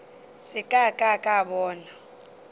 se ka ka ka bona